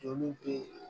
Joli te